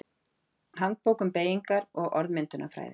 Handbók um beygingar- og orðmyndunarfræði.